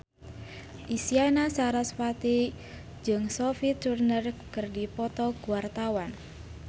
Isyana Sarasvati jeung Sophie Turner keur dipoto ku wartawan